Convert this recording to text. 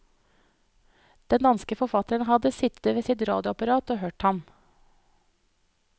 Den danske forfatteren hadde sittet ved sitt radioapparat og hørt ham.